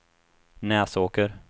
Näsåker